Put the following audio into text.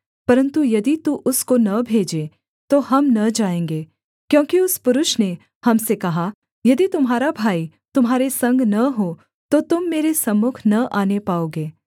परन्तु यदि तू उसको न भेजे तो हम न जाएँगे क्योंकि उस पुरुष ने हम से कहा यदि तुम्हारा भाई तुम्हारे संग न हो तो तुम मेरे सम्मुख न आने पाओगे